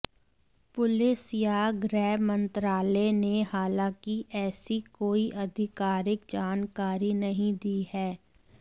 police या गृह मंत्रालय ने हालांकि ऐसी कोई आधिकारिक जानकारी नहीं दी है